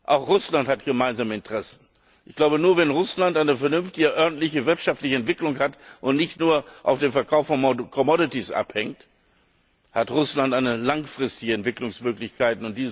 Auch Russland hat gemeinsame Interessen. Ich glaube, nur wenn Russland eine vernünftige örtliche wirtschaftliche Entwicklung hat und nicht nur vom Verkauf von commodities abhängt, hat Russland eine langfristige Entwicklungsmöglichkeit.